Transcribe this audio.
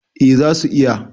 eh za su iya